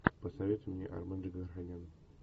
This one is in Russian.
посоветуй мне армен джигарханян